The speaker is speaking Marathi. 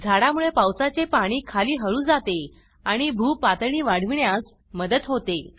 झाडा मुळे पावसाचे पाणी खाली हळू जाते आणि भू पातळी वाढविण्यास मदत होते